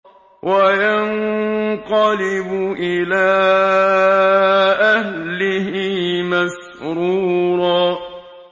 وَيَنقَلِبُ إِلَىٰ أَهْلِهِ مَسْرُورًا